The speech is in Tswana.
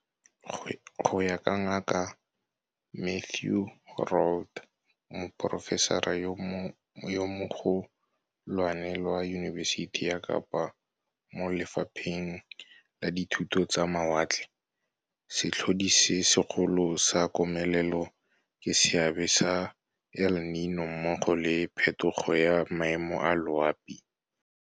Go ya ka Ngaka Mathieu Roualt, Moporofesara yo Mogo lwane kwa Yunibesiting ya Kapa mo Lefapheng la Dithuto tsa Mawatle, setlhodi se segolo sa komelelo ke seabe sa El Niño mmogo le phetogo ya maemo a loapi.